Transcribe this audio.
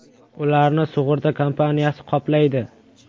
Ularni sug‘urta kompaniyasi qoplaydi.